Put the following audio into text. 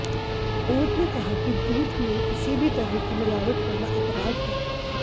court ने कहा कि दूध में किसी भी तरह की मिलावट करना अपराध है